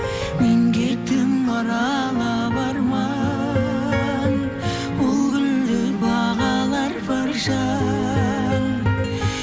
мен кеттім аралап арман бұл гүлді бағалар бір жан